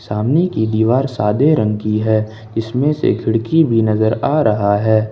सामने की दीवार सादे रंग की है इसमें से खिड़की भी नज़र आ रहा है।